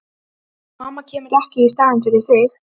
Mamma kemur ekki í staðinn fyrir þig.